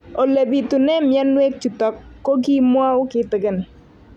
Ole pitune mionwek chutok ko kimwau kitig'�n